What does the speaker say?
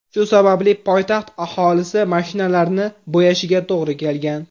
Shu sababli poytaxt aholisi mashinalarini bo‘yashiga to‘g‘ri kelgan.